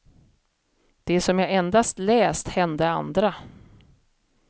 Det som jag endast läst hände andra.